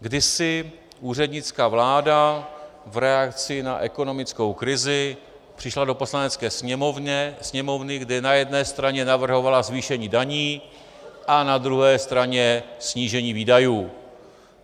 Kdysi úřednická vláda v reakci na ekonomickou krizi přišla do Poslanecké sněmovny, kde na jedné straně navrhovala zvýšení daní a na druhé straně snížení výdajů.